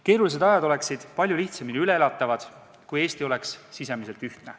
Keerulised ajad oleksid palju lihtsamini üle elatavad, kui Eesti oleks sisemiselt ühtne.